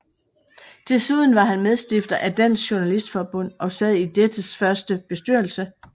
Desuden var han medstifter af Dansk Journalistforbund og sad i dettes første bestyrelse